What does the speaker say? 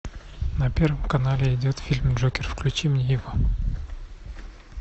на первом канале идет фильм джокер включи мне его